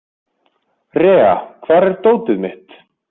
Rea, hvar er dótið mitt?